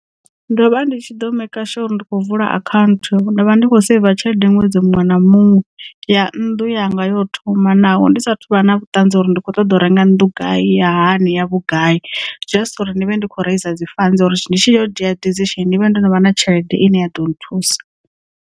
Ndo vha ndi tshi ḓo maker sure uri ndi khou vula akhaunthu nda vha ndi kho saiva tshelede ṅwedzi muṅwe na muṅwe ya nnḓu yanga yo thoma naho ndi sathu vha na vhuṱanzi uri ndi kho ṱoḓa u renga nnḓu nga ya hani ya vhugai just uri ndi vhe ndi kho rasa dzi fund uri ndi tshi yo dzhia decision ndivhe ndo no vha na tshelede ine ya ḓo nthusa.